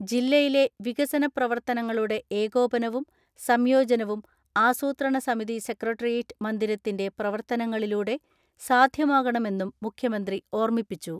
ജില്ലയിലെ വികസന പ്രവർത്തനങ്ങളുടെ ഏകോപനവും സംയോജനവും ആസൂത്രണ സമിതി സെക്രട്ടേറിയേറ്റ് മന്ദിരത്തിന്റെ പ്രവർത്തനങ്ങളിലൂടെ സാധ്യമാകണമെന്നും മുഖ്യമന്ത്രി ഓർമിപ്പിച്ചു.